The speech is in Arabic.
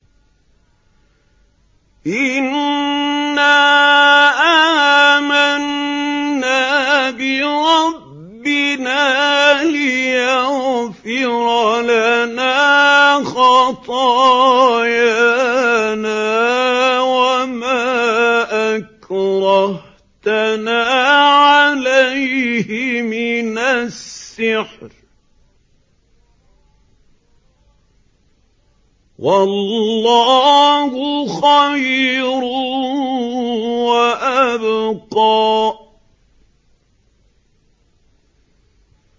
إِنَّا آمَنَّا بِرَبِّنَا لِيَغْفِرَ لَنَا خَطَايَانَا وَمَا أَكْرَهْتَنَا عَلَيْهِ مِنَ السِّحْرِ ۗ وَاللَّهُ خَيْرٌ وَأَبْقَىٰ